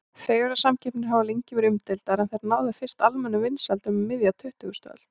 Fegurðarsamkeppnir hafa lengi verið umdeildar en þær náðu fyrst almennum vinsældum um miðja tuttugustu öld.